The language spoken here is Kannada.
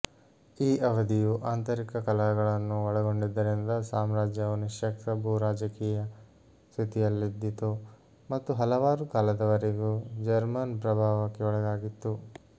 ಈ ಅವಧಿಯು ಆಂತರಿಕ ಕಲಹಗಳನ್ನು ಒಳಗೊಂಡಿದ್ದರಿಂದ ಸಾಮ್ರಾಜ್ಯವು ನಿಶ್ಯಕ್ತ ಭೂರಾಜಕೀಯ ಸ್ಥಿತಿಯಲ್ಲಿದ್ದಿತು ಮತ್ತು ಹಲವಾರು ಕಾಲದವರೆಗೂ ಜರ್ಮನ್ ಪ್ರಭಾವಕ್ಕೆ ಒಳಗಾಗಿತ್ತು